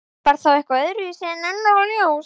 Var það þá eitthvað öðruvísi en önnur ljós?